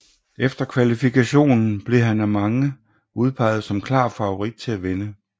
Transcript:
Efter kvalifikationen blev han af mange udpeget som klar favorit til at vinde